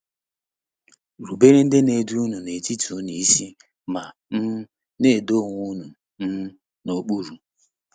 “Rubere ndị na-edu n’etiti unu isi ma um na-edo onwe unu um n’okpuru.”